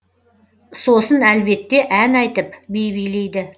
сосын әлбетте ән айтып би билейді